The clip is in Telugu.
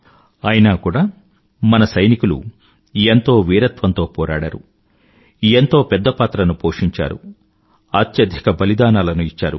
అయినా కూడా మన సైనికులు ఎంతో వీరత్వంతో పోరాడారు ఎంతో పెద్ద పాత్రను పోషించారు అత్యధిక బలిదానాలను ఇచ్చారు